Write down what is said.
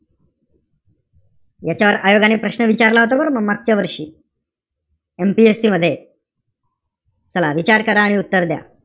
याच्यावर आयोगाने प्रश्न विचारला होता बरं, मागच्या वर्षी. MPSC चला, विचार करा आणि उत्तर द्या.